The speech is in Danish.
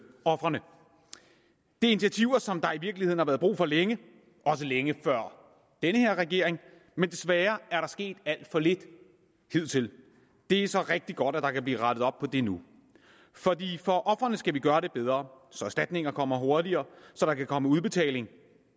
ofrene det er initiativer som der i virkeligheden har været brug for længe også længe før den her regering men desværre er der sket alt for lidt hidtil det er så rigtig godt at der kan blive rettet op på det nu fordi for ofrene skal vi gøre det bedre så erstatninger kommer hurtigere og så der kan komme udbetaling